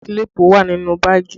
Kílípù wà nínú báàgì